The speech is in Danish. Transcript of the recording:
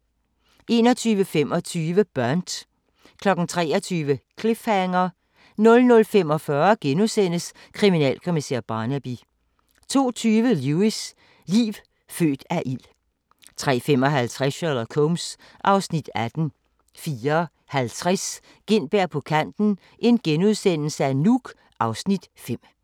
21:25: Burnt 23:00: Cliffhanger 00:45: Kriminalkommissær Barnaby * 02:20: Lewis: Liv født af ild 03:55: Sherlock Holmes (Afs. 18) 04:50: Gintberg på kanten - Nuuk (Afs. 5)*